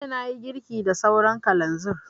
Jiya na yi girki da sauran kalanzir